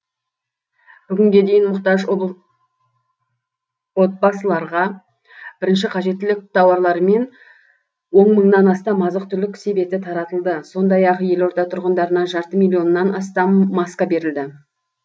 бүгінге дейін мұқтаж отбасыларға бірінші қажеттілік тауарларымен он мыңнан астам азық түлік себеті таратылды сондай ақ елорда тұрғындарына жарты миллионнан астам маска берілді